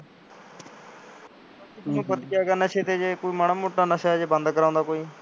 ਉਹਨੂੰ ਨਸ਼ੇ ਤੇ ਜੇ ਕੋਈ ਮਾੜਾ ਮੋਟਾ ਨਸ਼ਾ ਜੇ ਬੰਂਦ ਕਰਾਉਂਦਾ ਕੋਈ